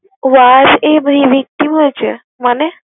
Wow কি মজা মানে?